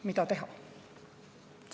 Mida teha?